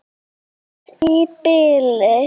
Bless í bili.